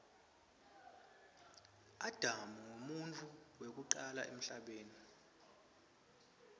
adam nqumuntfu wekucala emhlabeni